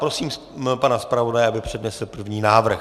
Prosím pana zpravodaje, aby přednesl první návrh.